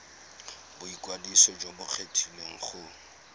boikwadiso jo bo kgethegileng go